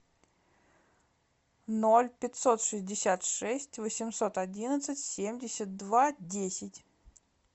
ноль пятьсот шестьдесят шесть восемьсот одиннадцать семьдесят два десять